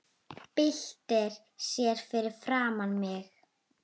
Byltir sér fyrir framan mig.